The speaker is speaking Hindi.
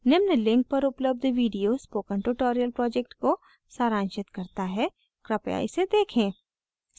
निम्न link पर उपलब्ध video spoken tutorial project को सारांशित करता है कृपया इसे देखें